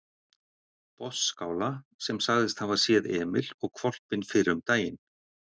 Botnsskála sem sagðist hafa séð Emil og hvolpinn fyrr um daginn.